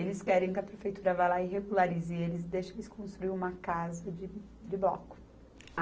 eles querem que a prefeitura vá lá e regularize eles, deixe eles construírem uma casa de, de bloco.